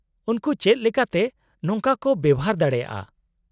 -ᱩᱱᱠᱩ ᱪᱮᱫ ᱞᱮᱠᱟᱛᱮ ᱱᱚᱝᱠᱟ ᱠᱚ ᱵᱮᱣᱦᱟᱨ ᱫᱟᱲᱮᱭᱟᱜᱼᱟ ?